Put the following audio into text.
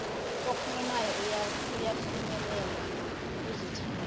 okhulumayo uyafinyelela kuzithameli